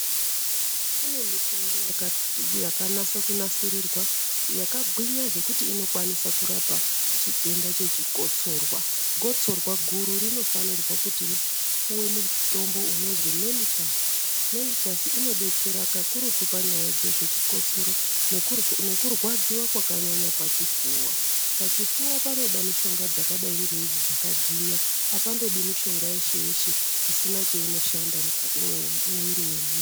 Kune mitombo yakanase kunasirrirwa yakagwinya zvekuti inokwanisw kurapa chitenda Chechi kotsorwa , Gotsorwa guru rinofanirwa kuti upiwe mutombo unozi meltus , meltus inodetsera pakurutu panyaya dzezve chikotsoro nekurwadziwa kwakanyanya pachipfuva , pachipfuva panoda mishonga dzakadai ngeidzi dzakahwinya alandodi mushonga yeshe yeshe isina chainoshanda mukati mwemiri yedu .